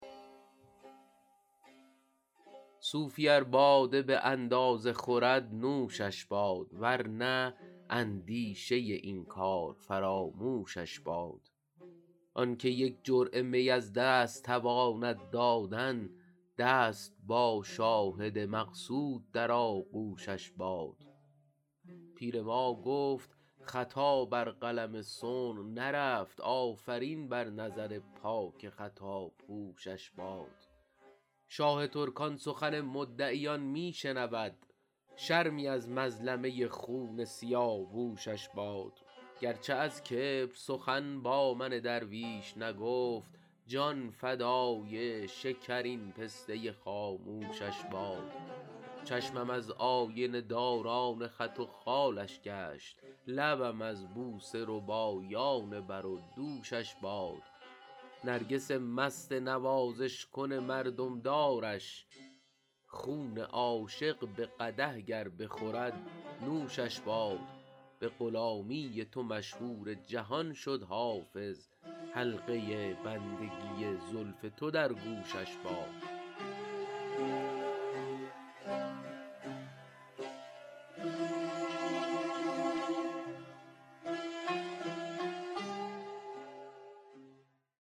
صوفی ار باده به اندازه خورد نوشش باد ور نه اندیشه این کار فراموشش باد آن که یک جرعه می از دست تواند دادن دست با شاهد مقصود در آغوشش باد پیر ما گفت خطا بر قلم صنع نرفت آفرین بر نظر پاک خطاپوشش باد شاه ترکان سخن مدعیان می شنود شرمی از مظلمه خون سیاوشش باد گر چه از کبر سخن با من درویش نگفت جان فدای شکرین پسته خاموشش باد چشمم از آینه داران خط و خالش گشت لبم از بوسه ربایان بر و دوشش باد نرگس مست نوازش کن مردم دارش خون عاشق به قدح گر بخورد نوشش باد به غلامی تو مشهور جهان شد حافظ حلقه بندگی زلف تو در گوشش باد